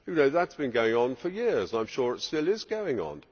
That has been going on for years and I am sure it still is going on.